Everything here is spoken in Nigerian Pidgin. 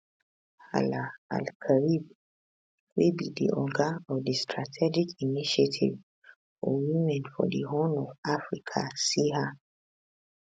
hala alkarib wey be di oga of di strategic initiative for women for di horn of africa siha